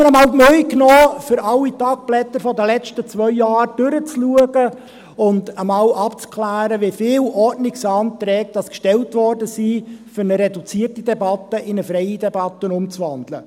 Ich habe mir einmal die Mühe gemacht und bin alle «Tagblätter des Grossen Rates» der letzten zwei Jahre durchgegangen, um abzuklären, wie viele Ordnungsanträge gestellt wurden, um eine reduzierte in eine freie Debatte umzuwandeln.